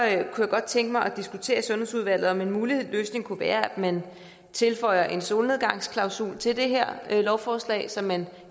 jeg godt tænke mig at diskutere i sundhedsudvalget om en mulig løsning kunne være at man tilføjer en solnedgangsklausul til det her lovforslag så man